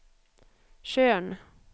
Tjörn